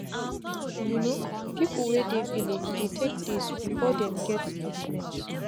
you no people wey dey village dey take days before them get treatment